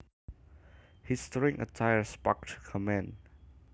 His strange attire sparked comment